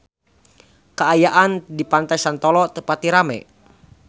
Kaayaan di Pantai Santolo teu pati rame